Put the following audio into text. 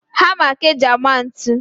Hama ka e ji ama ntu